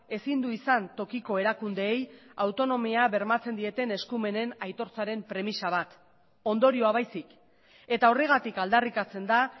ezin du izan tokiko erakundeei autonomia bermatzen dieten eskumenen aitortzaren premisa bat ondorioa baizik eta horregatik aldarrikatzen da